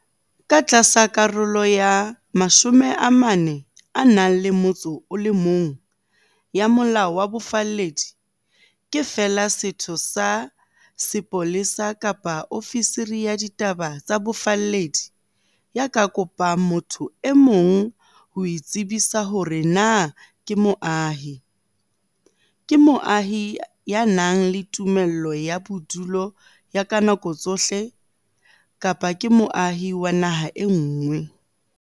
Ka tlasa Karolo ya 41 ya Molao wa Bofalledi, ke feela setho sa sepolesa kapa ofisiri ya ditaba tsa bofalledi ya ka kopang motho e mong ho itsebisa hore na ke moahi, ke moahi ya nang le tumello ya bodudi ya ka dinako tsohle, kapa ke moahi wa naha e nngwe.